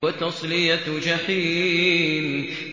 وَتَصْلِيَةُ جَحِيمٍ